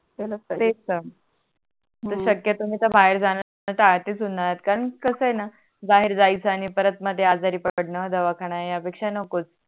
मी शक्यतो मी तर बाहेर जाण आधी सोडणार कारण कस आहे णा बाहेर जायच आणि परत मध्ये आजारी पडण दवाखाना आहे या पेक्षा नको